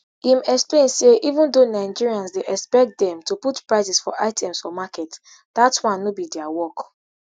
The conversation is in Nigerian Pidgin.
im explain say even though nigerians dey expect dem to put prices for items for market dat one no be dia work